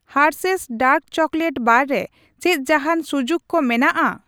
Hershey's dark chocolate bar ᱨᱮ ᱪᱮᱫ ᱡᱟᱦᱟᱸᱱ ᱥᱩᱡᱩᱠ ᱠᱚ ᱢᱮᱱᱟᱜᱼᱟ ?